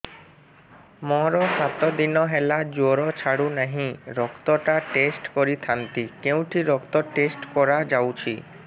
ମୋରୋ ସାତ ଦିନ ହେଲା ଜ୍ଵର ଛାଡୁନାହିଁ ରକ୍ତ ଟା ଟେଷ୍ଟ କରିଥାନ୍ତି କେଉଁଠି ରକ୍ତ ଟେଷ୍ଟ କରା ଯାଉଛି